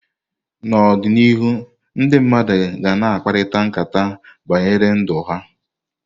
N'ọdịnihu ndị mmadụ ga na akparịkata nkata banyere ndụ ha.